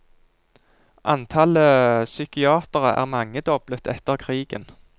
Antallet psykiatere er mangedoblet etter krigen.